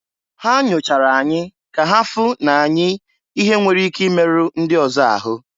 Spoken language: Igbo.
Ha nyochara anyị ka ha fụ na anyị ihe nwere ike imeru ndị ọzọ ahụ.